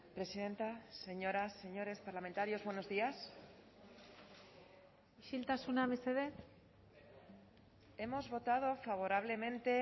presidenta señoras señores parlamentarios buenos días isiltasuna mesedez hemos votado favorablemente